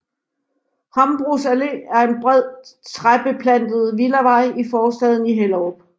Hambros Allé er en bred træbeplantet villavej i forstaden Hellerup